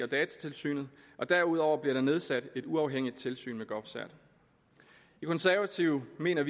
datatilsynet og derudover bliver der nedsat et uafhængigt tilsyn med govcert vi konservative mener